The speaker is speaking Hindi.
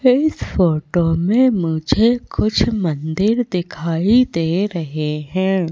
इस फोटो में मुझे कुछ मंदिर दिखाई दे रहें हैं।